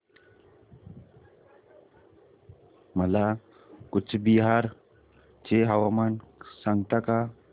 मला कूचबिहार चे हवामान सांगता का